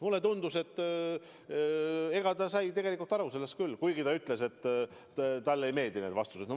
Mulle tundus, et ta sai aru küll, kuigi ta ütles, et talle ei meeldi need vastused.